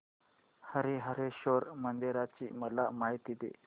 हरीहरेश्वर मंदिराची मला माहिती दे